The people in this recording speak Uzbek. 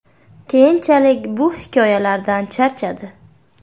Keyinchalik bu hikoyalardan charchadi.